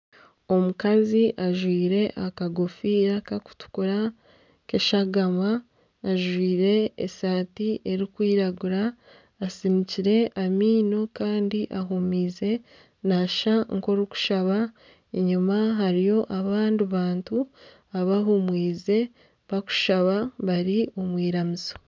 Omukazi ajwaire aka gofiira kakutukura k'eshagama ajwaire esaati erikwiragura atsiniikire amaino kandi ahumize nka orikushaba enyuma hariyo abandi bantu abahumize bakushaba bari omw'iramizo.